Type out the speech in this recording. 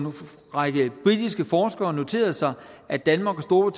række britiske forskere noterede sig at danmark og